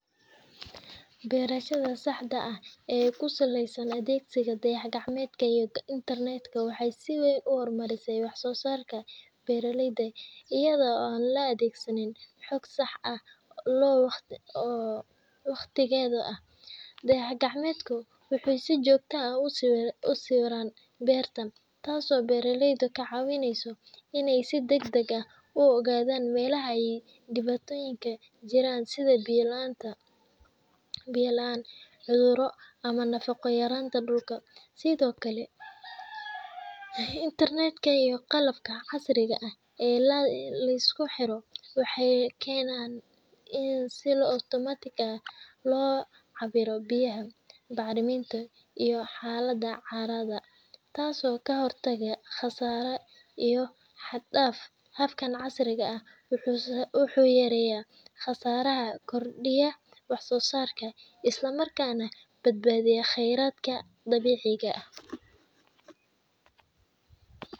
Beerashada casriga ah ee ku saleysan isticmaalka dayax-gacmeedyada iyo internet-ka waxay si weyn u kordhisaa wax-soo-saarka beeraleyda. Iyadoo la adeegsanayo sawirrada iyo xogta dayax-gacmeedka, beeraleydu waxay heli karaan macluumaad sax ah oo ku saabsan xaaladda dhulka, sida qoyaan la’aanta, cudurrada dhirta, iyo meelaha ay cayayaanku saameeyeen. Tani waxay u oggolaaneysaa in si dhaqso ah oo sax ah loo qaato go’aanno, taasoo yaraynaysa khasaaraha isla markaana kordhinaysa wax-soo-saarka. Internet-ka ayaa sidoo kale fududeeya isgaarsiinta, wacyi-gelinta, iyo helidda xogta cimilada ama talooyinka farsamo ee beeraleydu u baahanyihiin. Isku darka labadaas tiknoolajiyad waxay horseedaan beero wax-soo-saar badan leh, waqti iyo kharash badanna la kaydiyo.